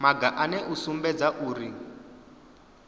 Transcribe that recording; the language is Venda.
maga ane a sumbedza uri